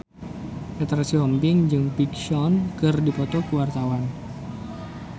Petra Sihombing jeung Big Sean keur dipoto ku wartawan